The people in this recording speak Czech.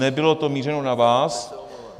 Nebylo to mířeno na vás.